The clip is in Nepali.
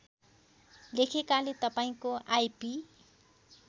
लेखेकाले तपाईँको आइपी